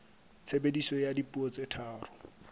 tshebediso ya dipuo tse tharo